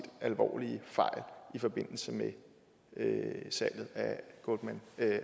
alvorlige fejl i forbindelse med med salget